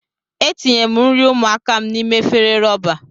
Etinyere m nri ụmụaka m n'ime efere rọba.